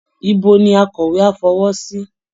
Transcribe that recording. Ibo ni akọ̀wé á fọwọ́ sí?